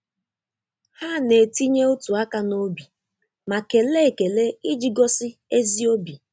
Ha na-etinye otu áká n'obi ma kelee ekele iji gosi ezi obi.